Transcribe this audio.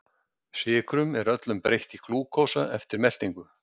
Sykrum er öllum breytt í glúkósa eftir meltingu.